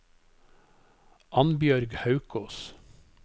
Annbjørg Haukås